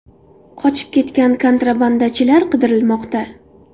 Qochib ketgan kontrabandachilar qidirilmoqda.